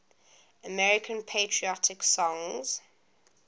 american patriotic songs